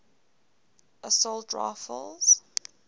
assault rifles